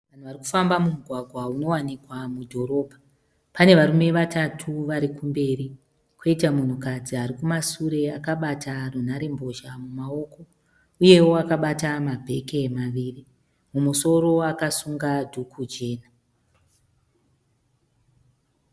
Varikufamba mumugwagwa unowanikwa mudhorobha. Pane varume vatatu varikumberi, koita munhu kadzi arikumashure akabata nhare mbozha mumaoko uyewo akabata mabheke maviri. Mumusoro akasunga dhuku jena .